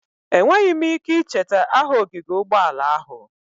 Enweghị m ike icheta aha ogige ụgbọala ahụ.